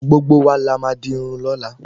Gbogbo wa la má di Irun lóla